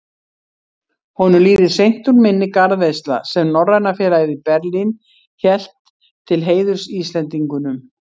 Honum líður seint úr minni garðveisla, sem Norræna félagið í Berlín hélt til heiðurs Íslendingunum.